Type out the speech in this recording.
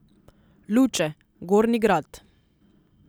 Luče, Gornji Grad.